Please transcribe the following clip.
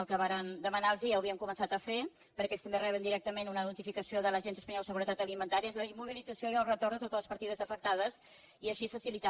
el que vàrem demanar los ja ho havien començat a fer perquè ells també reben directament una notificació de l’agència espanyola de seguretat alimentària és la immobilització i el retorn de totes les partides afectades i així facilitar